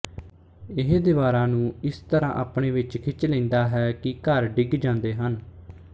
ਇਹ ਦੀਵਾਰਾਂ ਨੂੰ ਇਸ ਤਰ੍ਹਾਂ ਆਪਣੇ ਵਿੱਚ ਖਿੱਚ ਲੈਂਦਾ ਹੈ ਕਿ ਘਰ ਡਿੱਗ ਜਾਂਦੇ ਹਨ